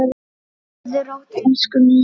Sofðu rótt, elsku Nýja mín.